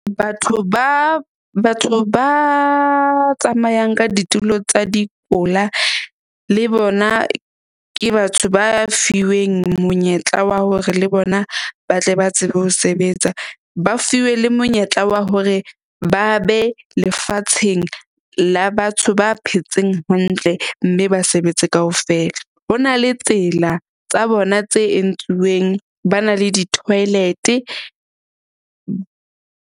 Batho ba tsamayang ka ditulo tsa le bona ke batho ba fiweng monyetla wa hore le bona ba tle ba tsebe ho sebetsa. Ba fiwe le monyetla wa hore ba be lefatsheng la batho ba phetseng hantle mme ba sebetse kaofela. Ho na le tsela tsa bona tse entsuweng. Ba na le di-toilet-e .